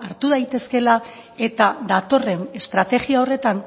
hartu daitezkeela eta datorren estrategia horretan